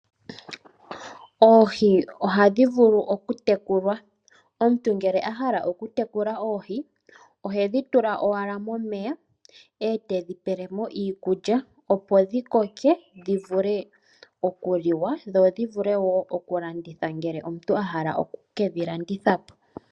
Oohi ohadhi vulu oku tekulwa. Omuntu ngele ahala oku tekula oohi , ohedhi tula owala momeya, etedhi pelemo iikulya opo dhi koke, dhi vule oku liwa dho dhi vule woo oku landithwa , ngele omuntu ahala oku kedhi landitha po.